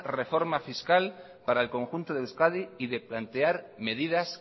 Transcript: reforma fiscal para el conjunto de euskadi y de plantear medidas